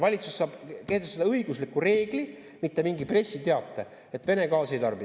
Valitsus saab kehtestada õigusliku reegli, mitte mingi pressiteate, et Vene gaasi ei tarbi.